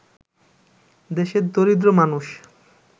দেশের দরিদ্র মানুষ